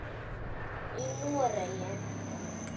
í Noregi.